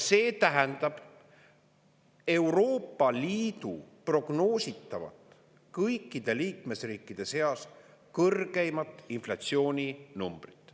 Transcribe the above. See tähendab Euroopa Liidu kõikide liikmesriikide seas kõrgeimat prognoositavat inflatsiooninumbrit.